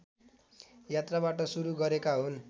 यात्राबाट सुरु गरेका हुन्